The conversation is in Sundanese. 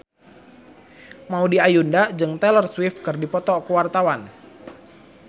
Maudy Ayunda jeung Taylor Swift keur dipoto ku wartawan